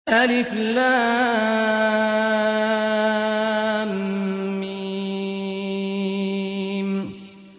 الم